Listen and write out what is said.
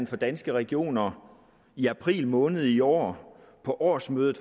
for danske regioner i april måned i år på årsmødet